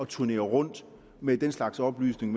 turnere rundt med den slags oplysninger